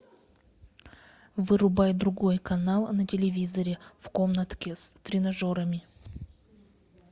вырубай другой канал на телевизоре в комнатке с тренажерами